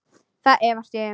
Það efast ég um.